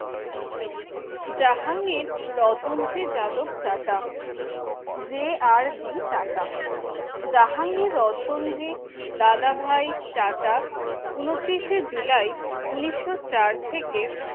জাহাঙ্গীর রতনজি যাদব Tata J R D চাটা জাহাঙ্গীর রতনজি দাদাভাই টাটা উনতিরিশের জুলাই উনিশশো চার থেকে